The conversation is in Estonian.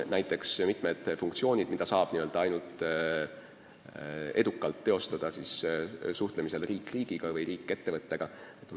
Näiteks võin tuua mitmed funktsioonid, mida saab teostada ainult suhtlemisel riik riigiga või riik ettevõttega.